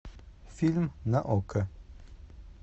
фильм на окко